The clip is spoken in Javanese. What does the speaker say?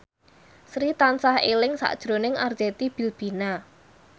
Sri tansah eling sakjroning Arzetti Bilbina